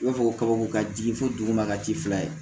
I b'a fɔ ko kabako ka di fo dugu ma ka ci fila ye